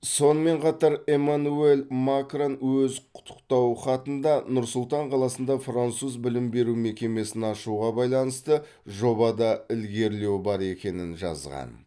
сонымен қатар эмманюэль макрон өз құттықтау хатында нұр сұлтан қаласында француз білім беру мекемесін ашуға байланысты жобада ілгерілеу бар екенін жазған